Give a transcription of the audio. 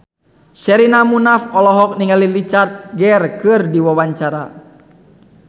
Sherina Munaf olohok ningali Richard Gere keur diwawancara